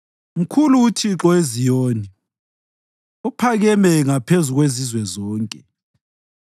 Mkhulu uThixo eZiyoni; uphakeme ngaphezu kwezizwe zonke.